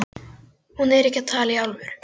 Hún er ekki að tala í alvöru.